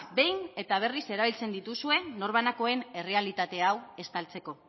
behin eta berriz erabiltzen dituzue norbanakoen errealitate hau estaltzeko